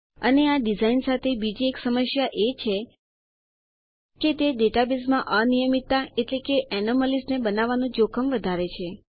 અને આ ડીઝાઇન સાથે બીજી એક સમસ્યા એ છે કે તે ડેટાબેઝમાં અનિયમિતતા એનોમેલીસ ને બનાવવાનું જોખમ વધારે છે